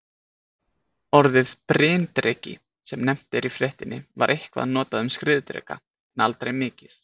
Orðið bryndreki, sem nefnt er í fréttinni, var eitthvað notað um skriðdreka en aldrei mikið.